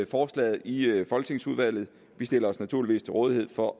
forslaget i folketingsudvalget vi stiller os naturligvis til rådighed for